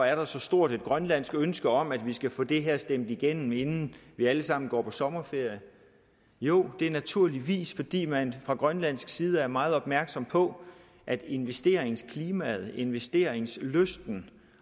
er der så stort et grønlandsk ønske om at vi skal få det her stemt igennem inden vi alle sammen går på sommerferie jo det er naturligvis fordi man fra grønlandsk side er meget opmærksom på at investeringsklimaet investeringslysten